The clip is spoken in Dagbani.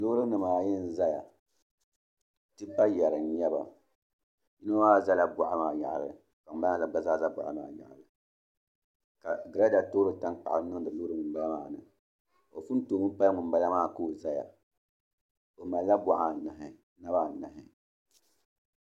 Loori nimaayi n ʒɛya tipa yɛri n nyɛba yino maa ʒɛla boɣa maa yaɣali ka ŋunbala maa gba zaa ʒɛ boɣali maa yaɣali ka girada toori tankpaɣu niŋdi loori yinga maa ni o pun toomi pali ŋunbala maa ka o ʒɛya o malla boɣari anahi naba anahi